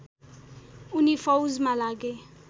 उनी फौजमा लागे